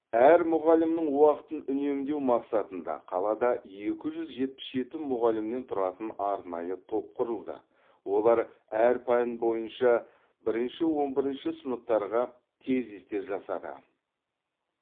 әр мұғалімнің уақытын үнемдеу мақсатында қалада екі жүз жетпіс жеті мұғалімнен тұратын арнайы топ құрылды олар әр пән бойынша бірінші он бірінші сыныптарға тезистер жасады